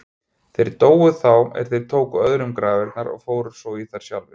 Þeir dóu þá er þeir tóku öðrum grafirnar og fóru þar svo í sjálfir.